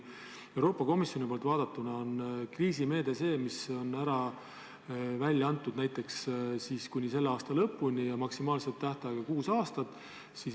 Euroopa Komisjoni seisukohalt on kriisimeede see, mida rakendatakse näiteks kuni selle aasta lõpuni ja maksimaalse tähtajaga kuus aastat.